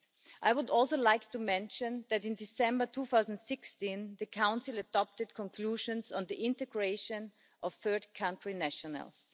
I would also like to mention that in December 2016 the Council adopted conclusions on the integration of third country nationals.